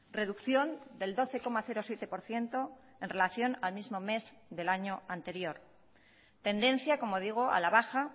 reducción del doce coma siete por ciento en relación al mismo mes del año anterior tendencia como digo a la baja